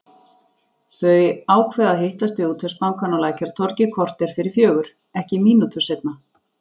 Þau ákveða að hittast við Útvegsbankann á Lækjartorgi korter fyrir fjögur, ekki mínútu seinna.